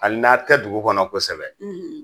Hali n'a tɛ dugu kɔnɔ kosɛbɛ